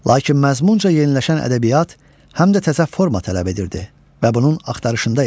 Lakin məzmunca yeniləşən ədəbiyyat həm də təzə forma tələb edirdi və bunun axtarışında idi.